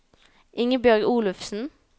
Ingebjørg Olufsen